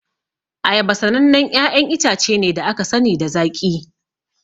Ayaba sanannen 'ya'yan itace ne da aka sani da zaƙi.